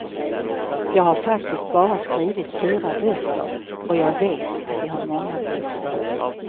Jag har faktiskt bara skrivit fyra böcker och jag vet att de har många brister.